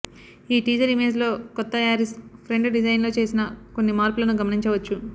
ఈ టీజర్ ఇమేజ్లో కొత్త యారిస్ ఫ్రంట్ డిజైన్లో చేసిన కొన్ని మార్పులను గమనించవచ్చు